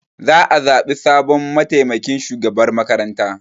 Za a zaɓi sabon mataimakin shugaban makaranta.